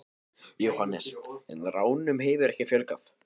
Jóhannes: En ránum hefur ekki fjölgað?